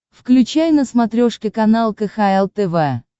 включай на смотрешке канал кхл тв